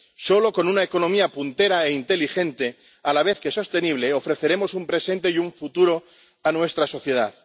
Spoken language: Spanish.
solo con una economía puntera e inteligente a la vez que sostenible ofreceremos un presente y un futuro a nuestra sociedad.